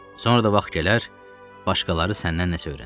Sonra da vaxt gələr, başqaları səndən nəsə öyrənər.